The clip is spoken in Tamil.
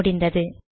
முடிந்தது